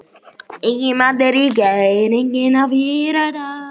Enginn matur í gær, enginn í fyrradag.